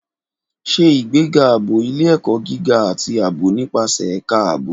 Ṣe ìgbéga ààbò ilé-ẹ̀kọ́ gíga àti ààbò nípasẹ̀ Ẹ̀ka Ààbò.